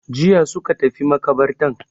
Jiya suka tafi maƙabartan.